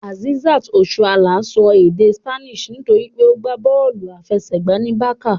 Azeezat Osoala ń sọ èdè Spanish nítorí pé ó gbá bọ́ọ̀lù aláfẹsẹ̀gbá ní Barça